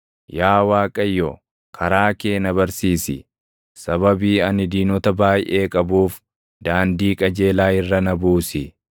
Yaa Waaqayyo, karaa kee na barsiisi; sababii ani diinota baayʼee qabuuf daandii qajeelaa irra na buusi.